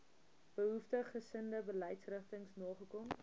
behoeftiggesinde beleidsrigtings nagekom